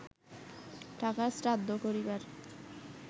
টাকার শ্রাদ্ধ করিবার